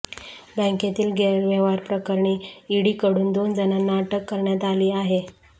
बॅंकेतील गैरव्यवहारप्रकरणी ईडीकडून दोन जणांना अटक करण्यात आली आहे